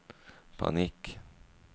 panikk